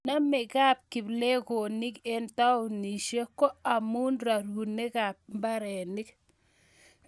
namekab kiplekonik eng taunisiek ko amu rorunekab mbarenik